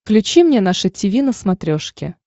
включи мне наше тиви на смотрешке